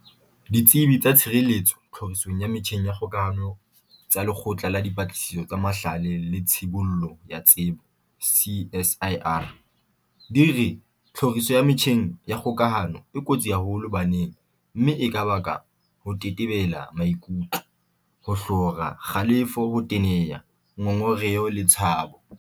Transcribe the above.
Ditsebi tsa tshireletso tlhorisong ya metjheng ya kgokahano tsa Lekgotla la Dipatlisiso tsa Mahlale le Tshibollo ya Tsebo, CSIR, di re tlhoriso ya metjheng ya kgokahano e kotsi haholo baneng mme e ka baka ho tetebela maikutlo, ho hlora, kgalefo, ho teneha, ngongereho le tshabo.